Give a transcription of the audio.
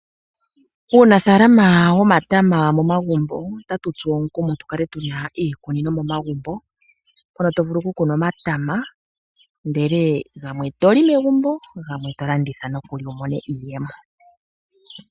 Uunafalama womatama momagumbo otawu tu tsu omukumo tukale tuna iikunino momagumbo. Mono to vulu oku kuna omatama ndele gamwe to li megumbo gamwe to landitha wu mone iiyemo.